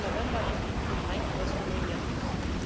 24. November lief die Queen Hind aus Rumänien aus.